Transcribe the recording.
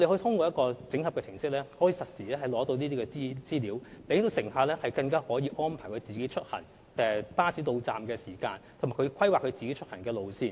通過這個整合程式，乘客可取得實時資料，以作出行的安排，包括根據巴士的到站時間規劃出行路線。